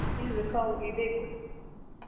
Hvað mun Gylfi fá í vikulaun?